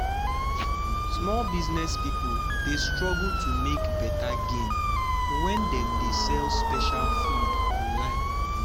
small business people dey struggle to make better gain when dem dey sell special food online.